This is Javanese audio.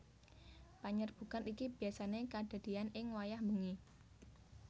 Panyerbukan iki biyasané kadadéyan ing wayah bengi